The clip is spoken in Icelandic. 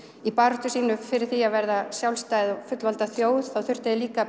í baráttu sinni fyrir því að vera sjálfstætt og fullvalda þjóð þá þurftu þeir líka